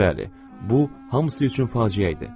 Bəli, bu hamısı üçün faciə idi.